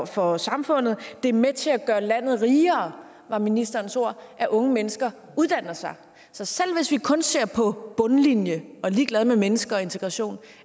for samfundet at det er med til at gøre landet rigere var ministerens ord at unge mennesker uddanner sig så selv hvis vi kun ser på bundlinjen og er ligeglad med mennesker og integration